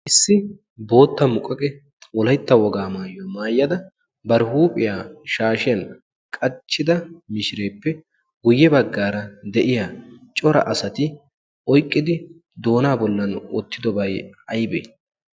issi bootta muqqaqe olaitta wogaa maayyo maayyada bar huuphiyaa shaashiyan qachchida mishireeppe guyye baggaara de'iya cora asati oiqqidi doonaa bollan oottidobay aybee